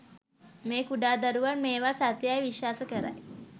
මේ කුඩාදරුවන් මේවා සත්‍ය යයි විශ්වාස කරයි